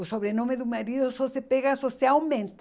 O sobrenome do marido só se pega socialmente.